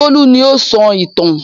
Bólú ni ó ń sọ ìtàn.